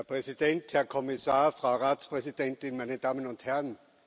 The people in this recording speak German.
Herr Präsident, Herr Kommissar, Frau Ratspräsidentin, meine Damen und Herren!